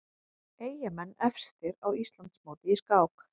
Eyjamenn efstir á Íslandsmóti í skák